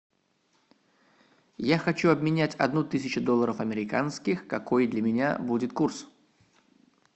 я хочу обменять одну тысячу долларов американских какой для меня будет курс